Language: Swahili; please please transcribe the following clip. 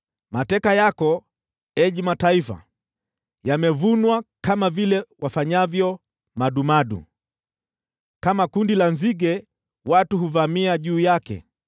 Mateka yenu, enyi mataifa, yamevunwa kama vile wafanyavyo madumadu, kama kundi la nzige watu huvamia juu yake.